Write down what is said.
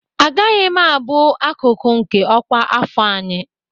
Agaghị m abụ akụkụ nke ọkwa afọ anyị!